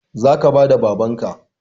Zaka bada babanka